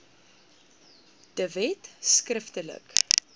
de wet skriftelik